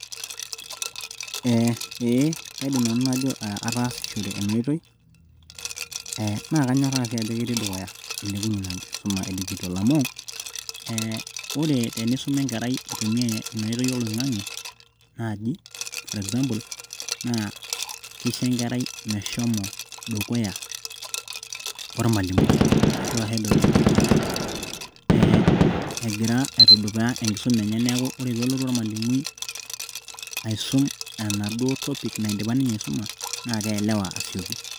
eee aidim nanu najo atasishore ena oitoi, ee na kanyorr kanyoraa si ajo eti dukuya, eilepunyie ena kisuma edigital, amu ee ore tenisuma enkerai itumia enkoitoi oloingange naji for example na kisho enkerai meshomo dukuya olmalimui ashu ahead of the teacher ee engira aitudupa enkisuma enye niaku ore pelotu olmalimui aisum enaduo topik naidipa ninye aisuma na kielewa ninye asioki.